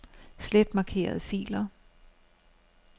Slet markerede filer.